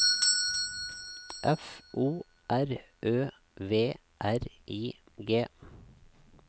F O R Ø V R I G